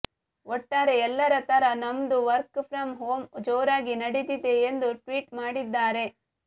ಒಟ್ಟಾರೆ ಎಲ್ಲರ ತರ ನಮ್ದೂ ವರ್ಕ್ ಫ್ರಂ ಹೋಮ್ ಜೋರಾಗಿ ನಡೀತಿದೆ ಎಂದು ಟ್ವೀಟ್ ಮಾಡಿದ್ದಾರೆ